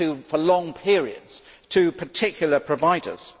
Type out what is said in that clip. them for long periods to particular providers.